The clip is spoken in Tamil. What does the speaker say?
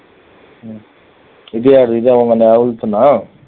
இது யாரு இது தான் உங்க ஆ